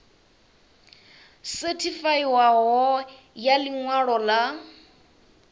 sethifaiwaho ya ḽi ṅwalo ḽa